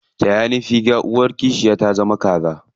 Taya ni figa, uwar kishiya ta zama kaza.